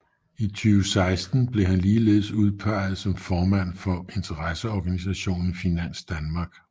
I 2016 blev han ligeledes udpeget som formand for interesseorganisationen Finans Danmark